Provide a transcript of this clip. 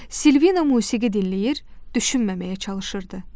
Silvina musiqi dinləyir, düşünməməyə çalışırdı.